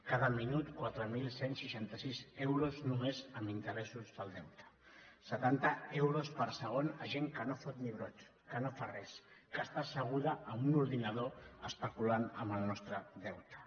cada minut quatre mil cent i seixanta sis euros només en interessos del deute setanta euros per segon a gent que no fot ni brot que no fa res que està asseguda a un ordinador especulant amb el nostre deute